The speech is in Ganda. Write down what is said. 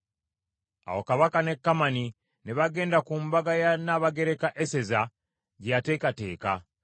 Awo Kabaka ne Kamani ne bagenda ku mbaga ya Nnabagereka Eseza gye yateekateeka.